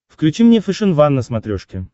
включи мне фэшен ван на смотрешке